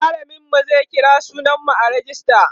mallamin mu zai kira sunan mu a rejista